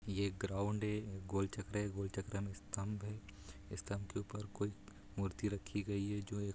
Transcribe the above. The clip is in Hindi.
यह एक ग्राउंड है गोल चक्कर है गोल चक्कर में एक स्तम्ब है स्तम्ब के ऊपर कोई मूर्ति रखी गई है जो।